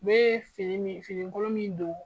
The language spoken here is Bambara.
U be sen min, finikolon min don